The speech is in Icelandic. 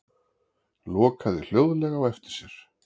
Lokaði hljóðlega á eftir sér.